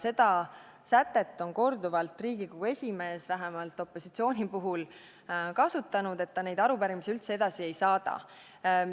Seda sätet on Riigikogu esimees vähemalt opositsiooni puhul korduvalt kasutanud, kui ta arupärimisi üldse edasi ei ole saatnud.